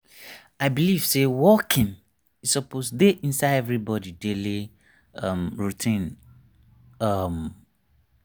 you know experts talk say to walk regular e go make your life better.